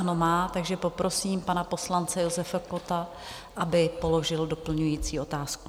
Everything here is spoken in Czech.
Ano má, takže poprosím pana poslance Josefa Kotta, aby položil doplňující otázku.